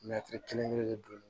kelen kelen de don